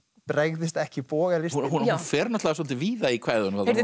bregðist ekki bogalistin hún fer náttúrulega svolítið víða í kvæðunum þarna